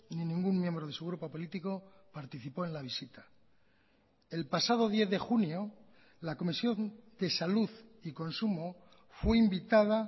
ni ningún miembro de su grupo político participó en la visita el pasado diez de junio la comisión de salud y consumo fue invitada